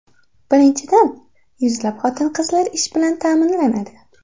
Birinchidan, yuzlab xotin-qizlar ish bilan ta’minlanadi.